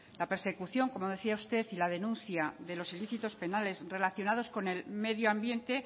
la persecución como decía usted y la denuncia de los ilícitos penales relacionados con el medio ambiente